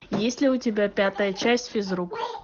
есть ли у тебя пятая часть физрук